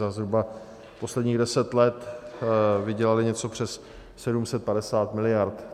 Za zhruba posledních deset let vydělaly něco přes 750 miliard.